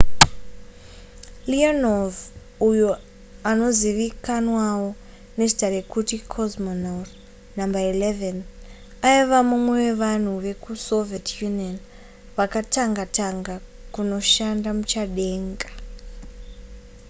leonov uyo anozivikanwawo nezita rekuti cosmonaut no 11 aiva mumwe wevanhu vekusoviet union vakatanga tanga kunoshanda muchadenga